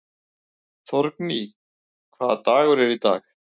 Þórgnýr, hvaða dagur er í dag?